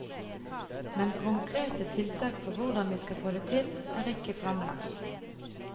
Men konkrete tiltak for hvordan vi skal få det til, er ikke fremlagt.